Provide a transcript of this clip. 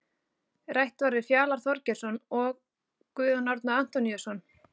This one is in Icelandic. Rætt var við Fjalar Þorgeirsson og Guðjón Árni Antoníusson.